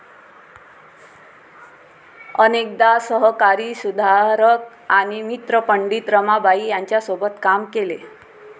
अनेकदा सहकारी सुधारक आणि मित्र पंडित रमाबाई यांच्यासोबत काम केले